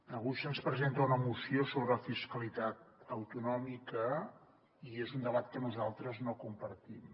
avui se’ns presenta una moció sobre fiscalitat autonòmica i és un debat que nosaltres no compartim